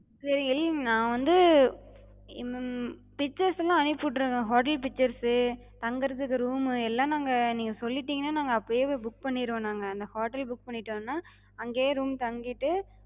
சரி நா வந்து ஹம் pictures எல்லா அனுப்பிவிட்டர்றேங்க, hotel pictures சே, தங்குறதுக்கு room மு எல்லா நாங்க நீங்க சொல்லிடிங்கனா நாங்க அப்பயே போய் book பண்ணிருவோ நாங்க. அந்த hotel book பண்ணிடோனா, அங்கயே room தங்கிட்டு,